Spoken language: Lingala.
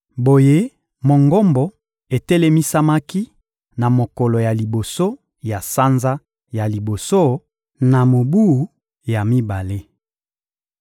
Boye, Mongombo etelemisamaki na mokolo ya liboso ya sanza ya liboso na mobu ya mibale.